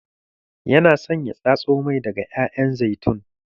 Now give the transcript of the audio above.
Yana son ya tatso mai daga ƴaƴan zaitun.